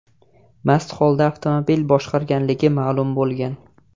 mast holda avtomobil boshqarganligi ma’lum bo‘lgan.